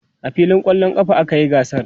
a filin kwallon ƙafa a kayi gasar